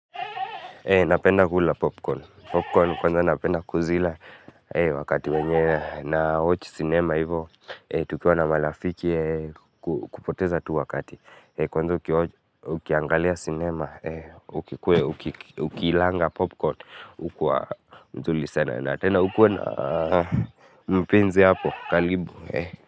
Napenda kula popcorn, popcorn. Kwanza napenda kuzila wakati wenye na watch cinema hivo, tukiwa na marafiki kupoteza tu wakati. Kwanza ukiwatch ukiangalia cinema, ukiilanga popcorn ukua mzuri sana. Na tena ukue na mpenzi hapo, karibu.